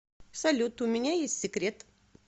салют у меня есть секрет